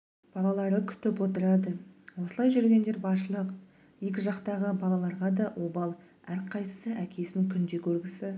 балалары күтіп отырады осылай жүргендер баршылық екі жақтағы балаларға да обал әрқайсысы әкесін күнде көргісі